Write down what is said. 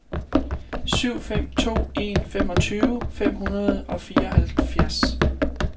syv fem to en femogtyve fem hundrede og fireoghalvfjerds